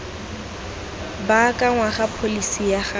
baakangwa ga pholesi ya ga